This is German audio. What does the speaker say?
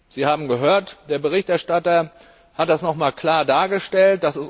Sie haben gehört, der Berichterstatter hat das noch einmal klar dargestellt.